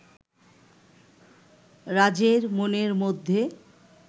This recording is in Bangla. রাজের মনের মধ্যে